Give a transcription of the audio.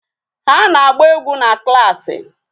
Ha na-agba egwu na klaasị.